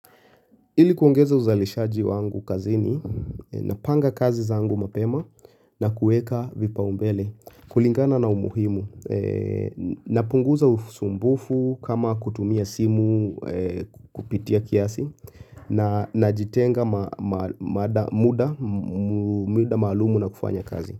Ili kuongeza uzalishaji wangu kazini, napanga kazi zangu mapema na kuweka vipa umbele kulingana na umuhimu, napunguza usumbufu kama kutumia simu kupitia kiasi na najitenga muda maalumu na kufanya kazi.